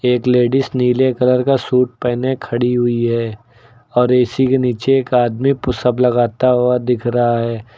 एक लेडिस नीले कलर का सूट पहने खड़ी हुई है और ए_सी के नीचे एक आदमी पुशअप लगाता हुआ दिख रहा है।